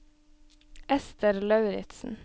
Esther Lauritsen